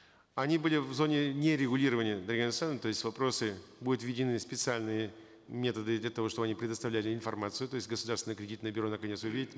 они были в зоне нерегулирования дарига нурсултановна то есть вопросы будут введены специальные методы для того чтобы они предоставляли информацию то есть государственные кредитные бюро наконец увидит